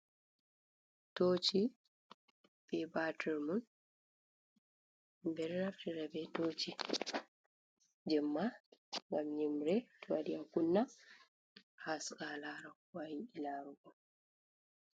Toci be Batir mun ɓe ɗo naftira be toci jemma ngam yimre to waɗi a kunna, a haska a lara ko a yiɗi Iarugo.